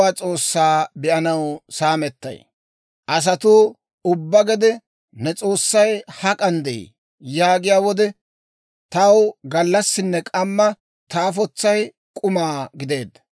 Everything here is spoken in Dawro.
Asatuu ubbaa gede, «Ne S'oossay hak'an de'ii?» yaagiyaa wode, taw gallassinne k'amma ta afotsay k'uma gideedda.